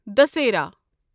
دٔسیراہ